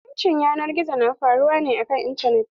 Zaluncin yanar gizo na faruwa ne a kan intanet.